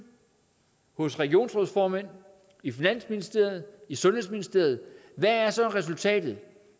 hos regionsrådsformænd i finansministeriet i sundhedsministeriet hvad er så resultatet